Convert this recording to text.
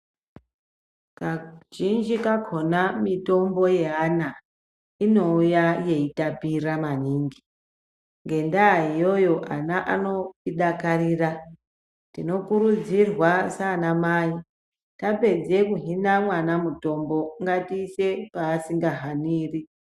Kazhinji kakhona mitombo yeana inouya yeitapira maningi. Ngendaa iyoyo, ana anoidakarira. Tinokurudzirwa saana mai tapedze kuhina mwana mutombo ngatiise paasika haniri.